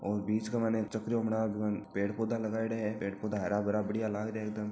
और बीच के माय एक चक्रयो बना र बामे पेड़ पौधा लगायोडा है पेड़ पौधा हरा भरा बढ़िया लाग रहिया है एकदम।